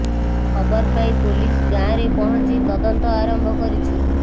ଖବର ପାଇ ପୋଲିସ ଗାଁରେ ପହଞ୍ଚି ତଦନ୍ତ ଆରମ୍ଭ କରିଛି